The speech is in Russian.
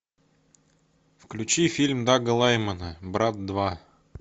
включи фильм дага лаймана брат два